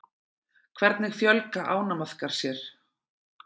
hvernig fjölga ánamaðkar sér